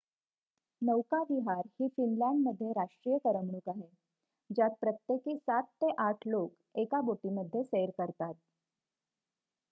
नौकाविहार ही फिनलँडमध्ये राष्ट्रीय करमणूक आहे ज्यात प्रत्येकी ७ ते ८ लोक एका बोटीमध्ये सैर करतात